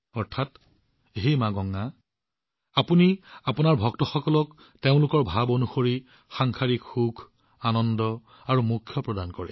অৰ্থাৎ হে মা গংগা আপুনি আপোনাৰ ভক্তসকলক তেওঁলোকৰ ইচ্ছা অনুসৰি সাংসাৰিক সুখ আনন্দ আৰু পৰিত্ৰাণ প্ৰদান কৰে